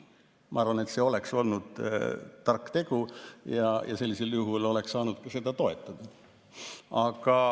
Ma arvan, et see oleks olnud tark tegu ja sellisel juhul oleks saanud seda ka toetada.